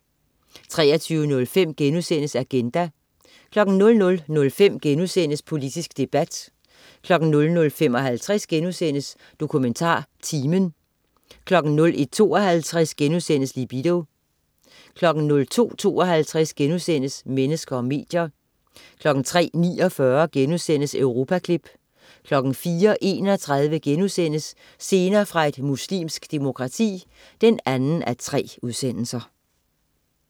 23.05 Agenda* 00.05 Politisk debat* 00.55 DokumentarTimen* 01.52 Libido* 02.52 Mennesker og medier* 03.49 Europaklip* 04.31 Scener fra et muslimsk demokrati 2:3*